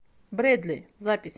брэдли запись